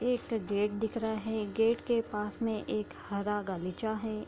एक गेट दिख रहा है गेट के पास में एक हरा गलीचा है।